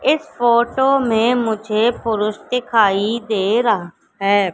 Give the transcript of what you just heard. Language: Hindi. इस फोटो में मुझे पुरुष दिखाई दे रहा है।